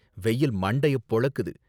வெயில் மண்டைய பொளக்குது.